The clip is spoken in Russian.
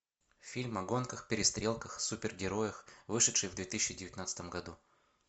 фильм о гонках перестрелках супергероях вышедший в две тысячи девятнадцатом году